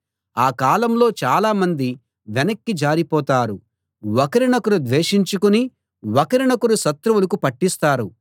ఆ కాలంలో చాలామంది వెనక్కి జారిపోతారు ఒకరినొకరు ద్వేషించుకుని ఒకరినొకరు శత్రువులకు పట్టిస్తారు